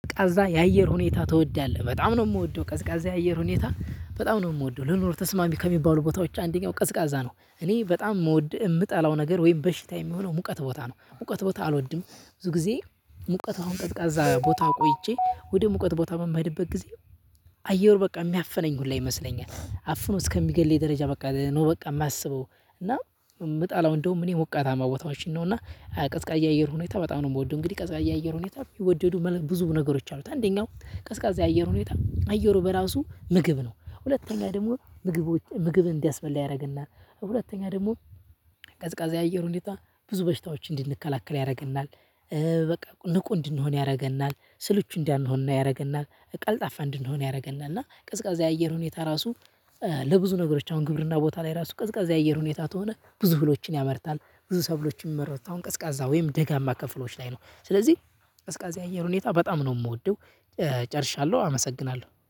ቀዝቃዛ የአየር ሁኔታ ትወዳለህ? በጣም ነው ምወደው ቀዝቃዛ የአየር ሁኔታ በጣም ነው ምወደው ለኑሮ ተስማሚ ከሚባሉ ቦታዎች አንደኛው ቀዝቃዛ ነው። እኔ በጣም ምወድ ምጠላው ነገር ወይም በሽታ የሚሆነው ሙቀት ቦታ ነው ሙቀት ቦታ አልወድም። ብዙ ጊዜ ሙቀት አሁን ቀዝቃዛ ቦታ ቆይቼ ወደ ሙቀት ቦታ የምሄድበት ጊዜ አየሩ በቃ የሚያፍነኝ ሁላ ይመስለኛል አፍኖ እስከሚገልለኝ ደረጃ በቃ ነው። በቃ ማስበው እና ምጣለው እንደውም እኔ ሞቃታማ ቦታዎችን ነው እና ቀዝቃዛ አየር ሁኔታ በጣም ነው የምወደው። እንግዲህ ቀዝቃያ አየር ሁኔታ የሚወደዱ ብዙ ነገሮች አሉት አንደኛው ቀዝቃዛ የአየር ሁኔታ አየሩ በራሱ ምግብ ነው። ሁለተኛ ደግሞ ምግቦች ምግብ እንዲያስበላ ያደርገናል። ሁለተኛ ደግሞ ቀዝቃዛ የአየር ሁኔታ ብዙ በሽታዎች እንድንከላከል ያደርገናል። በቃ ንቁ እንድንሆን ያደርገናል ስልቹ እንዳሆን ያደርገናል ቀልጣፋ እንድንሆን ያደርገናል። እና ቅዝቃዜ አየር ሁኔታ ራሱ። ለብዙ ነገሮች አሁን ግብርና ቦታ ላይ ራሱ ቅዝቃዜ የአየር ሁኔታ ከሆነ ብዙ እህሎችን ያመርታል። ብዙ ሰብሎችን የሚመረቱት አሁን ቀዝቃዛ ወይም ደጋማ ክፍሎች ላይ ነው። ስለዚህ ቀዝቃዛ አየር ሁኔታ በጣም ነው የምወደው። ጨርሻለሁ አመሰግናለሁ